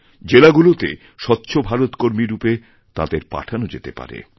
জেলাগুলোতে স্বচ্ছভারত কর্মীরূপে তাঁদের পাঠানো যেতে পারে